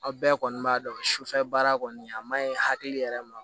Aw bɛɛ kɔni b'a dɔn sufɛ baara kɔni a maɲi hakili yɛrɛ ma